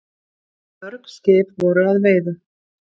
Mörg skip voru að veiðum.